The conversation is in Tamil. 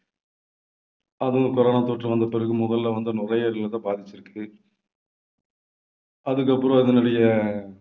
அதுவும் corona தொற்று வந்தபிறகு முதல்ல வந்து நுரையீரலை தான் பாதிச்சிருக்கு. அதுக்கப்புறம் அதனுடைய